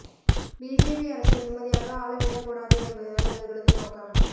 BJP அரசை நிம்மதியாக ஆள விடக்கூடாது என்பதுதான் இவர்களது நோக்கம்